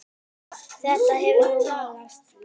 Þetta hefur nú lagast.